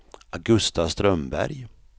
Augusta Strömberg